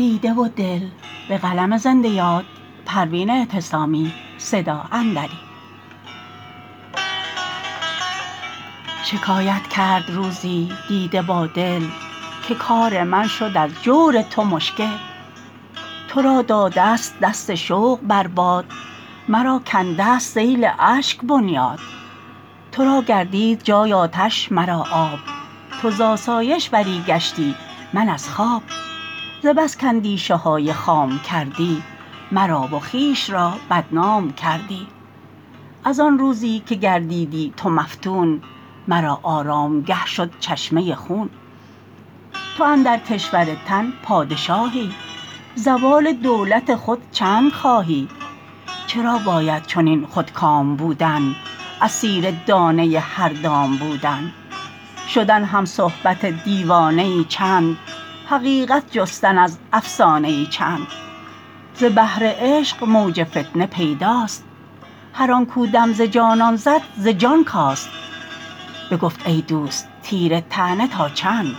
شکایت کرد روزی دیده با دل که کار من شد از جور تو مشکل ترا دادست دست شوق بر باد مرا کندست سیل اشک بنیاد ترا گردید جای آتش مرا آب تو زاسایش بری گشتی من از خواب ز بس کاندیشه های خام کردی مرا و خویش را بدنام کردی از آن روزی که گردیدی تو مفتون مرا آرامگه شد چشمه خون تو اندر کشور تن پادشاهی زوال دولت خود چندخواهی چرا باید چنین خودکام بودن اسیر دانه هر دام بودن شدن همصحبت دیوانه ای چند حقیقت جستن از افسانه ای چند ز بحر عشق موج فتنه پیداست هر آن کو دم ز جانان زد ز جان کاست بگفت ای دوست تیر طعنه تا چند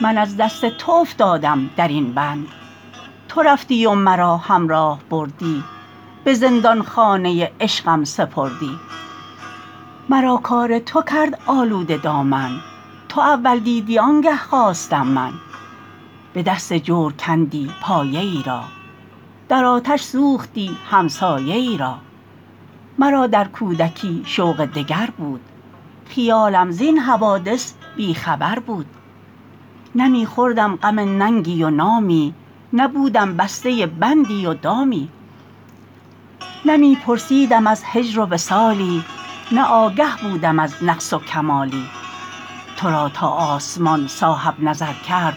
من از دست تو افتادم درین بند تو رفتی و مرا همراه بردی به زندانخانه عشقم سپردی مرا کار تو کرد آلوده دامن تو اول دیدی آنگه خواستم من به دست جور کندی پایه ای را در آتش سوختی همسایه ای را مرا در کودکی شوق دگر بود خیالم زین حوادث بی خبر بود نه می خوردم غم ننگی و نامی نه بودم بسته بندی و دامی نه می پرسیدم از هجر و وصالی نه آگه بودم از نقص و کمالی ترا تا آسمان صاحب نظر کرد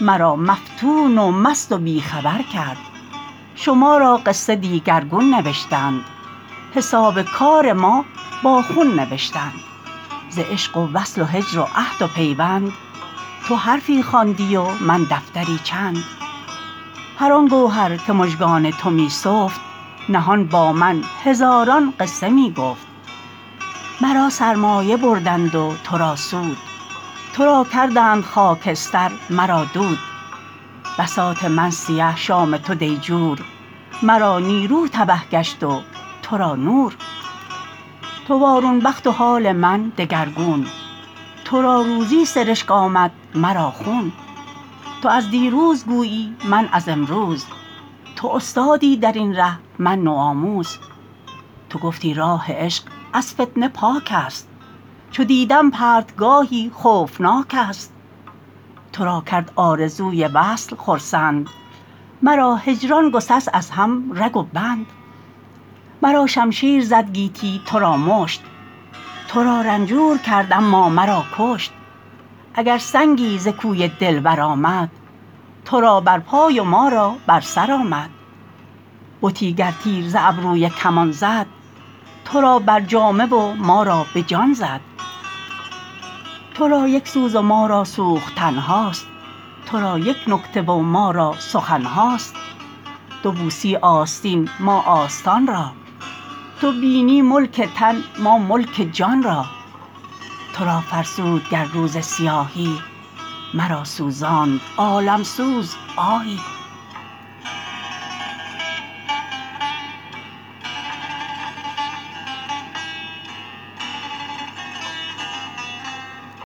مرا مفتون و مست و بی خبر کرد شما را قصه دیگرگون نوشتند حساب کار ما با خون نوشتند ز عشق و وصل و هجر و عهد و پیوند تو حرفی خواندی و من دفتری چند هر آن گوهر که مژگان تو می سفت نهان با من هزاران قصه می گفت مرا سرمایه بردند و ترا سود ترا کردند خاکستر مرا دود بساط من سیه شام تو دیجور مرا نیرو تبه گشت و تو را نور تو وارون بخت و حال من دگرگون ترا روزی سرشک آمد مرا خون تو از دیروز گویی من از امروز تو استادی درین ره من نوآموز تو گفتی راه عشق از فتنه پاک است چو دیدم پرتگاهی خوفناک است ترا کرد آرزوی وصل خرسند مرا هجران گسست از هم رگ و بند مرا شمشیر زد گیتی ترا مشت ترا رنجور کرد اما مرا کشت اگر سنگی ز کوی دلبر آمد ترا بر پای و ما را بر سر آمد بتی گر تیر ز ابروی کمان زد ترا بر جامه و ما را به جان زد ترا یک سوز و ما را سوختن هاست ترا یک نکته و ما را سخن هاست تو بوسی آستین ما آستان را تو بینی ملک تن ما ملک جان را ترا فرسود گر روز سیاهی مرا سوزاند عالم سوز آهی